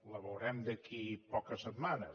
la veurem d’aquí a poques setmanes